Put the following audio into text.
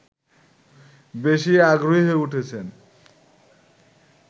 বেশি আগ্রহী হয়ে উঠেছেন